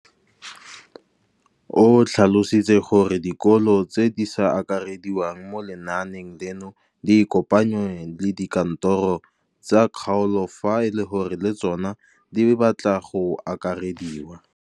O tlhalositse gore dikolo tse di sa akarediwang mo lenaaneng leno di ikopanye le dikantoro tsa kgaolo fa e le gore le tsona di batla go akarediwa.